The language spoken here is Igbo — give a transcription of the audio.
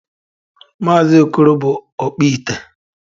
Maazị okoro bụ ọkpụite